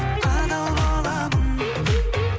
адал боламын